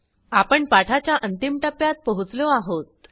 आपण पाठाच्या अंतिम टप्प्यात पोहोचलो आहोत